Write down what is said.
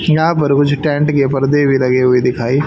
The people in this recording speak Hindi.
यहां पर मुझे टैंट के पर्दे भी लगे हुए दिखाई--